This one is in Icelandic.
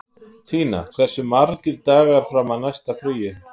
Tína, hversu margir dagar fram að næsta fríi?